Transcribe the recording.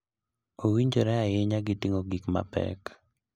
Owinjore ahinya gi ting'o gik mapek.